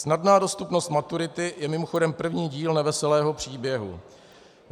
Snadná dostupnost maturity je mimochodem první díl neveselého příběhu.